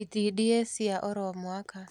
Itindiĩ cia oro mwaka